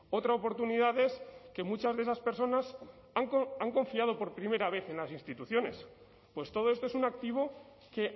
otra oportunidad es que muchas de esas personas han confiado por primera vez en las instituciones pues todo esto es un activo que